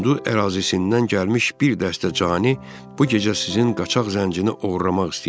Hindu ərazisindən gəlmiş bir dəstə cani bu gecə sizin qaçaq zəncini oğurlamaq istəyir.